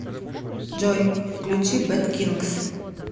джой включи бэд кингс